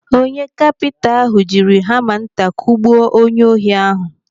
Onye kapinta ahụ jiri hama nta kugbuo onye ohi ahụ.